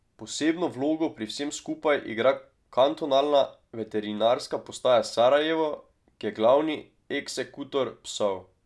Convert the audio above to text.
Posebno vlogo pri vsem skupaj igra kantonalna veterinarska postaja Sarajevo, ki je glavni eksekutor psov.